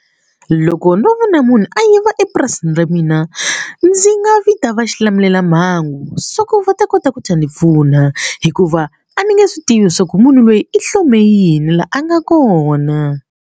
Loko ndzo vona munhu a yiva epurasini ra mina ndzi nga vita va xilamulelamhangu so ku va ta kota ku ta ni pfuna hikuva a ni nge swi tivi swa ku munhu loyi i hlome yini la a nga kona.